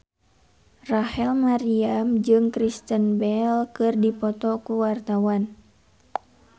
Rachel Maryam jeung Kristen Bell keur dipoto ku wartawan